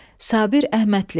Sabir Əhmədli.